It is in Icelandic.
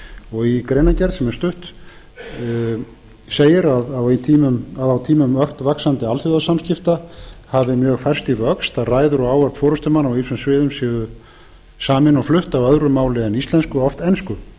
er í greinargerð sem er stutt segir að á tímum ört vaxandi alþjóðasamskipta hafi mjög færst í vöxt að ræður og ávörp forustumanna á ýmsum sviðum séu samin og flutt á öðru máli en íslensku oft ensku